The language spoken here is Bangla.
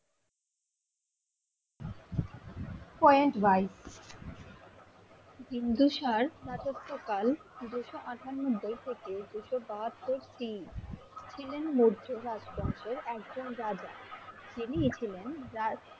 point right বিন্দুসার রাজত্ব কাল দুশো আঠানব্বই থেকে দুশো বাহাত্তর টি ছিলেন মধ্যে রাজ্ বংশের একজন রাজা তিনি ই ছিলেন রাজা